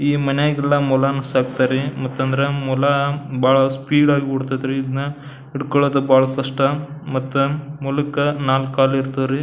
ಈ ಮನೆಗಲ್ಲ ಮೊಲನ ಸಾಕ್ತಾರೆ ಮತ್ ಅಂದ್ರ ಮೊಲ ಬಹಳ ಸ್ಪೀಡ್ ಆಗಿ ಒಡತೈತಿರಿ ಇದನ್ನ ಹಿಡ್ಕೊಳ್ಳೋದು ಬಹಳ ಕಷ್ಟ ಮತ್ತ ಮೊಲಕ್ಕ ನಾಲಕ್ ಕಾಲ್ ಇರ್ತಾವ ರೀ.